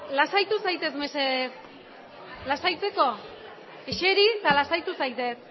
lasaitu zaitez mesedez lasaitzeko eseri eta lasaitu zaitez